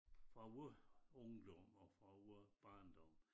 Fra vor ungdom og fra vor barndom